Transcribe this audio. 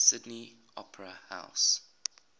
sydney opera house